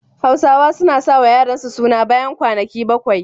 Hausawa suna sa wa yaransu suna bayan kwanaki bakwai.